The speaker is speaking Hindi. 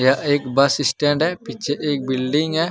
यह एक बस स्टैंड है पीछे एक बिल्डिंग है।